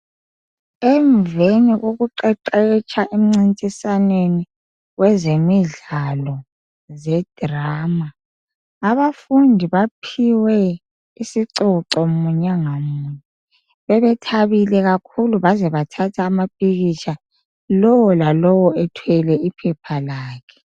Emveni kokuqeqetsha emncintiswaneni wezemidlalo zedrama, abafundi baphiwe isicoco munye ngamunye. Bebethabile kakhulu baze bathatha amapikitsha lowo lalowo ethwele iphepha lakhe.